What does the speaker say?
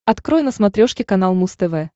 открой на смотрешке канал муз тв